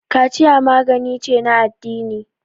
kaciya magani ce na addini